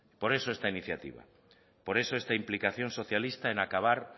por eso esta iniciativa por eso esta implicación socialista en acabar